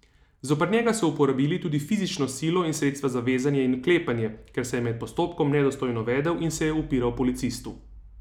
Zoper njega so uporabili tudi fizično silo in sredstva za vezanje in vklepanje, ker se je med postopkom nedostojno vedel in se je upiral policistu.